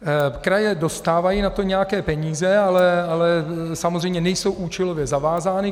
Kraje dostávají na to nějaké peníze, ale samozřejmě nejsou účelově zavázány.